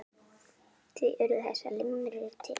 Því urðu þessar limrur til.